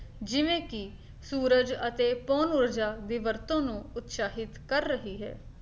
ਜਿਵੇਂ ਕੀ ਸੂਰਜ ਅਤੇ ਪੌਣ ਊਰਜਾ ਦੀ ਵਰਤੋਂ ਨੂੰ ਉਤਸ਼ਾਹਿਤ ਕਰ ਰਹੀ ਹੈ